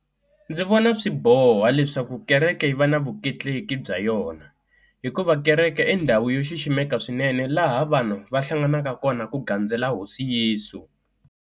Ndzi vona swiboho leswaku kereke yi va na vutleketleki bya yona hikuva kereke i ndhawu yo xiximeka swinene laha vanhu va hlanganaka kona ku gandzela hosi Yesu.